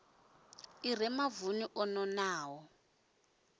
i re mavuni o nonaho